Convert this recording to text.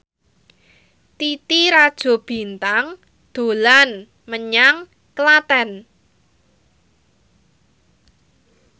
Titi Rajo Bintang dolan menyang Klaten